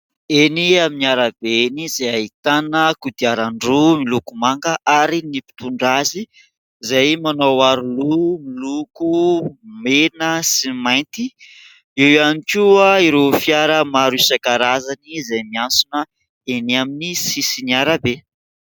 Eny amin'ny arabe eny izay ahitana kodiaran-droa miloko manga ary ny mpitondra azy izay manao aro loha miloko mena sy mainty. Eo ihany koa ireo fiara maro isan-karazany izay miantsona eny amin'ny sisin'ny arabe.